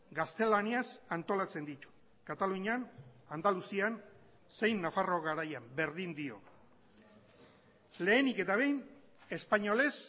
gaztelaniaz antolatzen ditu katalunian andaluzian zein nafarroa garaian berdin dio lehenik eta behin espainolez